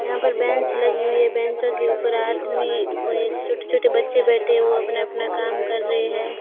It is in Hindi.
यहां पर बेंच लगी हुई है बेचों के ऊपर आदमी कोई छोटे-छोटे बच्चे बैठे हुए हैं अपना-अपना काम कर रहे हैं।